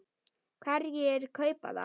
Hverjir kaupa það?